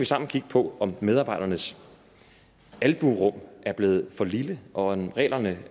sammen kigge på om medarbejdernes albuerum er blevet for lille og reglerne